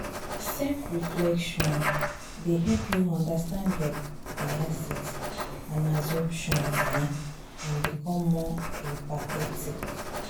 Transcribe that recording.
self-reflection dey help you understand your biases and assumptions um and become more empathetic.